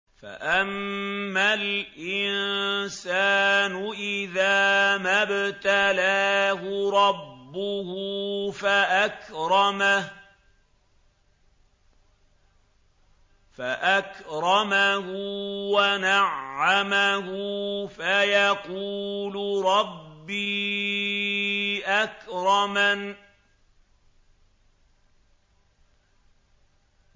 فَأَمَّا الْإِنسَانُ إِذَا مَا ابْتَلَاهُ رَبُّهُ فَأَكْرَمَهُ وَنَعَّمَهُ فَيَقُولُ رَبِّي أَكْرَمَنِ